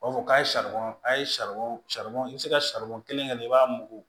U b'a fɔ k'a ye saribɔn a ye saribɔn i bɛ se ka kelen kɛ i b'a mugu